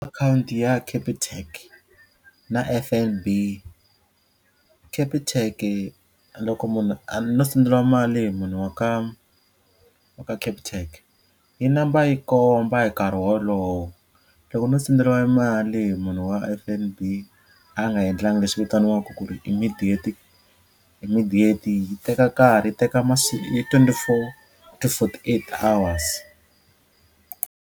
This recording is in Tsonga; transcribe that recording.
Account ya Capitec na F_N_B. Capitec loko munhu no senderiwa mali hi munhu wa ka wa ka Capitec yi namba yi komba hi nkarhi wolowo loko no senderiwa mali hi munhu wa F_N_B a nga endlangi leswi vitaniwaka ku ri immediate immediate yi teka nkarhi yi teka twenty-four to forty-eight hours.